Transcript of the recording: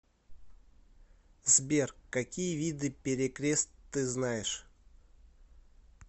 сбер какие виды перекрест ты знаешь